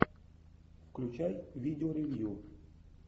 включай видео ревью